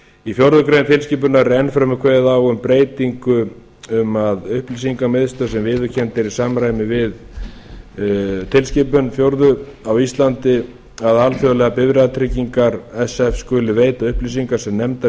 í fjórða grein tilskipunarinnar er enn fremur kveðið á um breytingu um að upplýsingamiðstöð sem viðurkennd er í samræmi við fjórðu tilskipun á íslandi að alþjóðlegar bifreiðatryggingar sf skuli veita upplýsingar sem nefndar eru